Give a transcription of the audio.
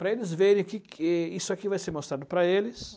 Para eles verem que que isso aqui vai ser mostrado para eles.